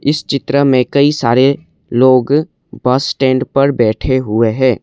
इस चित्र में कई सारे लोग बस स्टैंड पर बैठे हुए हैं।